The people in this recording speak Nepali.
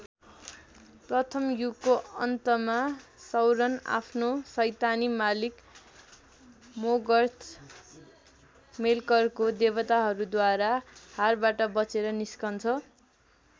प्रथम युगको अन्तमा सौरन आफ्नो सैतानी मालिक मोर्गथ मेल्करको देवताहरूद्वारा हारबाट बचेर निस्किन्छ।